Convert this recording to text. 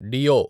డియో